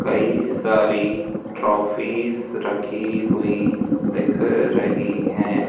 कई सारी ट्रॉफीज रखी हुई दिख रही हैं।